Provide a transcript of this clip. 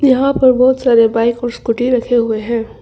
यहां पर बहुत सारे बाइक और स्कूटी रखे हुए हैं।